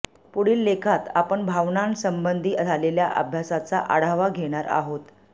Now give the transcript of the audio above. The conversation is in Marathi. पुढील लेखात आपण भावनांसंबंधी झालेल्या अभ्यासाचा आढावा घेणार आहोत